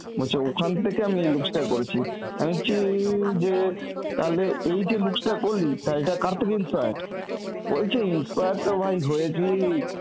বলছে ওখান থেকে আমি এই looks টা করেছি. আমি বলছি যে তালে এই যে looks টা করলি তা এটা কার থেকে inspired? বলছে inspired তো ভাই হয়েছি